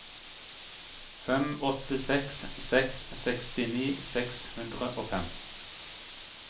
fem åtte seks seks sekstini seks hundre og fem